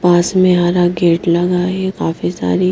पास में हरा गेट लगा है काफी सारी--